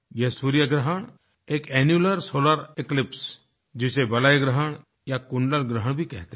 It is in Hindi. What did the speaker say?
यह सूर्य ग्रहण एक एन्यूलर सोलार इक्लिप्स जिसे वलयग्रहण या कुंडलग्रहण भी कहते हैं